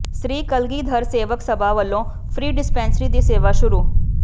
ਸ੍ਰੀ ਕਲਗ਼ੀਧਰ ਸੇਵਕ ਸਭਾ ਵੱਲੋਂ free dispensary ਦੀ ਸੇਵਾ ਸ਼ੁਰੂ